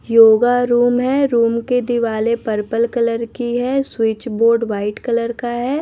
Yoga room है room के दिवाले पर्पल कलर की है स्विच बोर्ड व्हाइट कलर का है।